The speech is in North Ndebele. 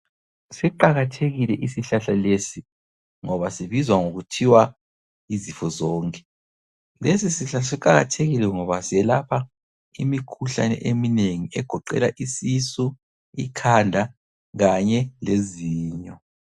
Siqakathekile isihlahla lesi ngoba sibizwa ngokuthiwa yizifozonke. Lesisihlahla siqakathekile ngoba silyelapha imikhuhlane eminengi egoqela isisu, ikhanda kanye lezinyo